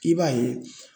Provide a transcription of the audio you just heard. I b'a ye